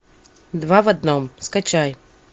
два в одном скачай